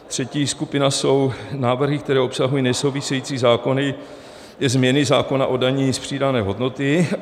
Třetí skupina jsou návrhy, které obsahují nesouvisející zákony i změny zákona o dani z přidané hodnoty.